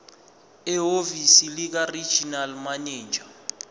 ehhovisi likaregional manager